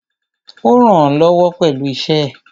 Ó rànán lọ́wọ́ pẹ̀lú iṣẹ́ ẹ̀.